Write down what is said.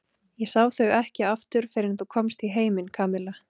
Ég sá þau ekki aftur fyrr en þú komst í heiminn, Kamilla.